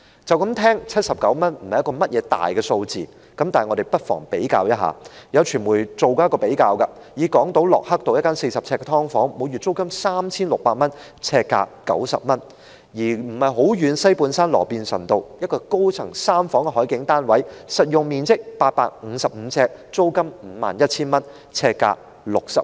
聽起來79元不是一個大數字，但我們不妨比較一下，有傳媒曾作出比較，港島駱克道一間40平方呎的"劏房"，每月租金 3,600 元，呎價90元；而距離不遠的西半山羅便臣道一個高層三房海景單位，實用面積855平方呎，租金 51,000 元，呎價60元。